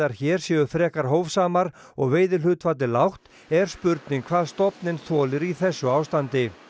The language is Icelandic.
hér séu frekar hófsamar og veiðihlutfallið lágt er spurning hvað stofninn þolir í þessu ástandi